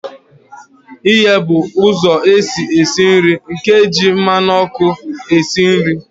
Ighe bụ ụzọ esi esi nri nke na-eji mmanụ ọkụ esi nri.